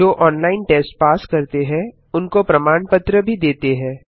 जो online test pass करते हैं उनको प्रमाण पत्र भी देते हैं